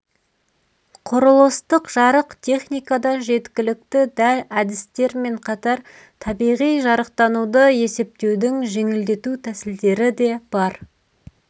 құрылыстық жарық техникада жеткілікті дәл әдістермен қатар табиғи жарықтануды есептеудің жеңілдету тәсілдері бар